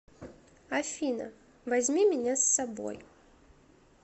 афина возьми меня с собой